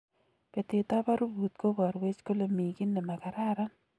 Betet ab arubut kobarweech kole mii ki nemakararan